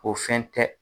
O fɛn tɛ